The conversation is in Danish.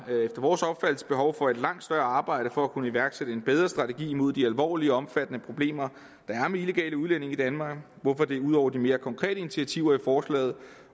vores opfattelse behov for et langt større arbejde for at kunne iværksætte en bedre strategi mod de alvorlige og omfattende problemer der er med illegale udlændinge i danmark hvorfor det ud over de mere konkrete initiativer i forslaget